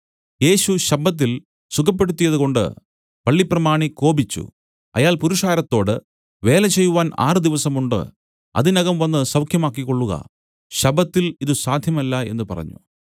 യേശു ശബ്ബത്തിൽ സുഖപ്പെടുത്തിയത് കൊണ്ട് പള്ളിപ്രമാണി കോപിച്ചു അയാൾ പുരുഷാരത്തോട് വേലചെയ്‌വാൻ ആറുദിവസമുണ്ട് അതിനകം വന്നു സൌഖ്യമാക്കിക്കൊള്ളുക ശബ്ബത്തിൽ ഇതു സാധ്യമല്ല എന്നു പറഞ്ഞു